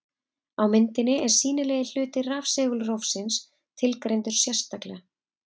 Á myndinni er sýnilegi hluti rafsegulrófsins tilgreindur sérstaklega.